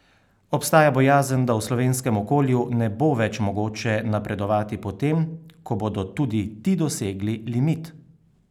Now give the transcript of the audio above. Obstaja bojazen, da v slovenskem okolju ne bo več mogoče napredovati po tem, ko bodo tudi ti dosegli limit?